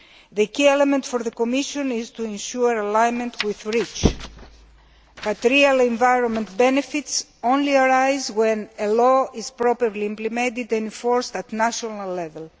The key element for the Commission is to ensure alignment with REACH, but real environmental benefits only arise when a law is properly implemented and enforced at national level.